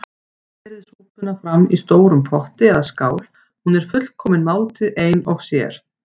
Berið súpuna fram í stórum potti eða skál- hún er fullkomin máltíð ein og sér.